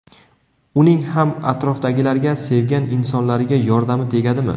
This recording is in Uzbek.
Uning ham atrofdagilarga, sevgan insonlariga yordami tegadimi?